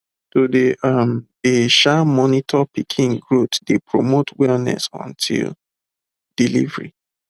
to dey um dey um monitor pikin growth dey promote wellness until delivery